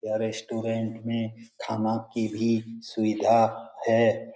यह रेस्टोरेंट में खाना की भी सुविधा है।